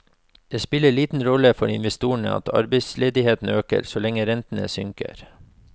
Det spiller liten rolle for investorene at arbeidsledigheten øker, så lenge rentene synker.